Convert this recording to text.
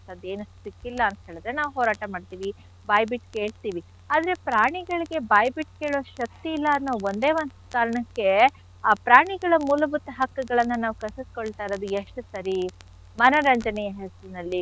ಸಿಕ್ಕಿಲ್ಲ ಅಂತ್ ಹೇಳಿದ್ರೆ ನಾವ್ ಹೋರಾಟ ಮಾಡ್ತಿವಿ ಬಾಯ್ ಬಿಟ್ ಕೇಳ್ತಿವಿ ಆದ್ರೆ ಪ್ರಾಣಿಗಳಿಗೆ ಬಾಯ್ ಬಿಟ್ ಕೇಳೋ ಶಕ್ತಿ ಇಲ್ಲ ಅನ್ನೋ ಒಂದೆ ಒಂದ್ ಕಾರಣಕ್ಕೆ ಆ ಪ್ರಾಣಿಗಳ ಮೂಲಭೂತ ಹಕ್ಕುಗಳನ್ನ ನಾವ್ ಕಸಿದ್ಕೊಳ್ತ ಇರೋದು ಎಷ್ಟ್ ಸರಿ ಮನರಂಜನೆಯ ನಿಟ್ಟಿನಲ್ಲಿ.